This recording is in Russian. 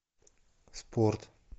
спорт